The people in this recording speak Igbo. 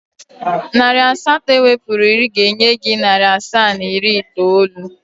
Narị asatọ ewepụrụ iri ga-enye gị narị asaa na iri itoolu.